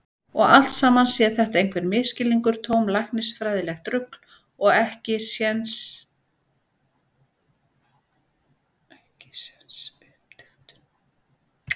Og allt saman sé þetta einhver misskilningur, tómt læknisfræðilegt rugl og ekkisens uppdiktun.